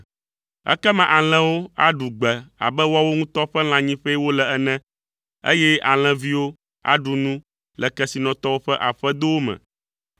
Ekema alẽwo aɖu gbe abe woawo ŋutɔ ƒe lãnyiƒee wole ene; eye alẽviwo aɖu nu le kesinɔtɔwo ƒe aƒedowo me.